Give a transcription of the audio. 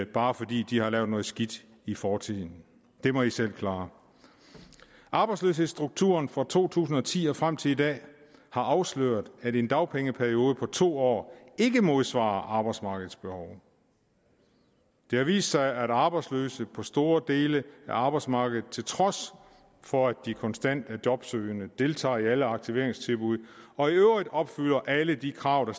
bare fordi de har lavet noget skidt i fortiden det må de selv klare arbejdsløshedsstrukturen fra to tusind og ti og frem til i dag har afsløret at en dagpengeperiode på to år ikke modsvarer arbejdsmarkedets behov det har vist sig at arbejdsløse på store dele af arbejdsmarkedet til trods for at de konstant er jobsøgende deltager i alle aktiveringstilbud og i øvrigt opfylder alle de krav